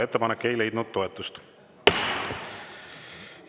Ettepanek ei leidnud toetust.